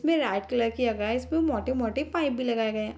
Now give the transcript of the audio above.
इसमें light colour की है गाइस इसमें मोटे-मोटे पाइप भी लगाए गए हैं।